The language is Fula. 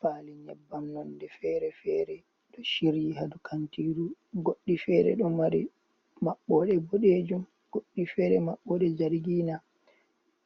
Faali nyebbam nonde fere-fere, ɗo shiryi hadow kantiru goɗɗi fere ɗo mari maɓɓode boɗejum, goɗɗi fere maɓɓode jargina,